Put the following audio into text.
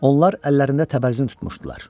Onlar əllərində təbərzin tutmuşdular.